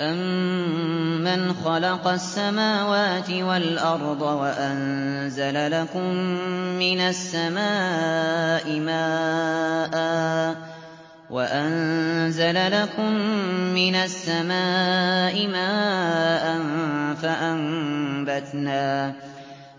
أَمَّنْ خَلَقَ السَّمَاوَاتِ وَالْأَرْضَ وَأَنزَلَ لَكُم مِّنَ السَّمَاءِ مَاءً